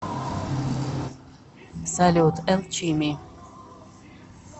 салют элчими